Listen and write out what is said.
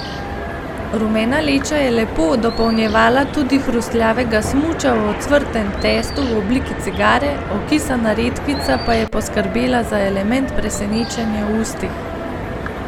Rumena leča je lepo dopolnjevala tudi hrustljavega smuča v ocvrtem testu v obliki cigare, okisana redkvica pa je poskrbela za element presenečenja v ustih.